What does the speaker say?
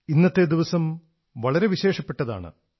ഇന്നത്തെ ദിവസം വളരെ വിശേഷപ്പെട്ടതാണ്